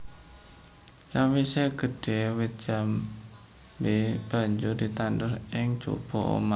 Sawisé gedhé wit jambé banjur ditandur ing njaba omah